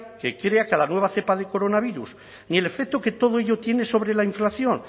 que crea cada nueva cepa de coronavirus ni el efecto que todo ello tiene sobre la inflación